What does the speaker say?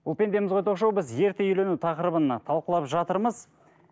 бұл пендеміз ғой ток шоуы біз ерте үйлену тақырыбын талқылап жатырмыз